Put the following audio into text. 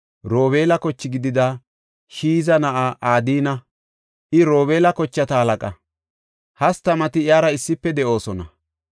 Robeela koche gidida Shiiza na7aa Adina. I Robeela kochata halaqa; hastamati iyara issife de7oosona.